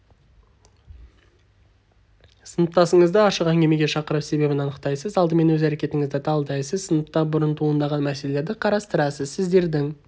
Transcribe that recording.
сыныптасыңызды ашық әңгімеге шақырып себебін анықтайсыз алдымен өз әрекетіңізді талдайсыз сыныпта бұрын туындаған мәселелерді қарастырасыз сіздердің